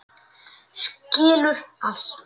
Skilur allt.